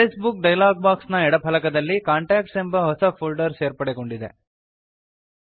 address book dialog box ನ ಎಡ ಫಲಕದಲ್ಲಿ ಕಾಂಟಾಕ್ಟ್ಸ್ ಎಂಬ ಹೊಸ ಫೋಲ್ದರ್ ಸೇರ್ಪಡೆಗೊಂಡಿದೆ